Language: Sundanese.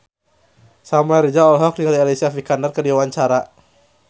Samuel Rizal olohok ningali Alicia Vikander keur diwawancara